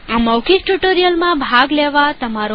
આ મૌખિક ટ્યુ્ટોરીઅલમાં ભાગ લેવા તમારો આભાર